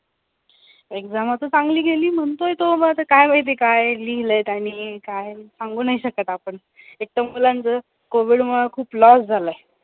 exam आता चांगली गेली म्हणतोय तो, मग आता काय माहिती काय लिहिलंय त्यांनी काय सांगू नाही शकत आपण एक तर मुलांच COVID मुळे खूप loss झालाय.